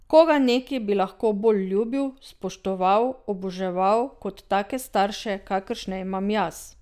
Koga neki bi lahko bolj ljubil, spoštoval, oboževal kot take starše, kakršne imam jaz?